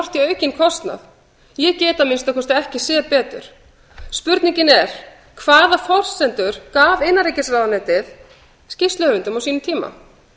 í aukinn kostnað ég get að minnsta kosti ekki séð betur spurningin er hvaða forsendur gaf innanríkisráðuneytið skýrsluhöfundum á sínum tíma